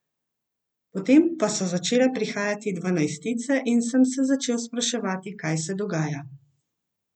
Potem pa so začele prihajati dvanajstice in sem se začel spraševati, kaj se dogaja.